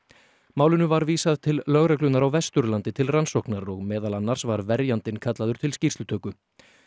málinu var vísað til lögreglunnar á Vesturlandi til rannsóknar og meðal annars var verjandinn kallaður til skýrslutöku